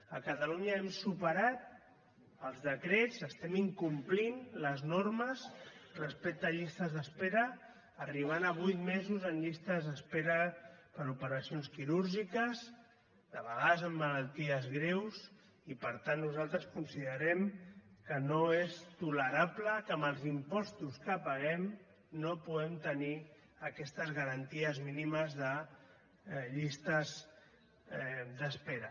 a catalunya hem superat els decrets estem incomplint les normes respecte a llistes d’espera arribant a vuit mesos en llistes d’espera per a operacions quirúrgiques de vegades amb malalties greus i per tant nosaltres considerem que no és tolerable que amb els impostos que paguem no puguem tenir aquestes garanties mínimes de llistes d’espera